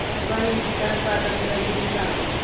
अफगाणिस्तान स्वातंत्र्य दिवस सांगा